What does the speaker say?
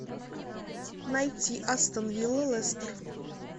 найти астон вилла лестер